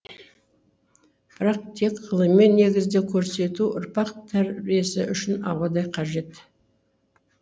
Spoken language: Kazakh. бірақ тек ғылыми негізде көрсету ұрпақ тәрбиесі үшін ауадай қажет